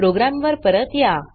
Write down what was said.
programme वर परत या